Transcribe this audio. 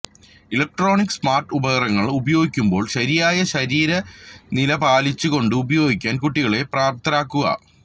electronic smart ഉപകരണങ്ങൾ ഉപയോഗിക്കുമ്പോൾ ശരിയായ ശരീര നില പാലിച്ചു കൊണ്ട് ഉപയോഗിക്കാൻ കുട്ടികളെ പ്രാപ്തരാക്കുക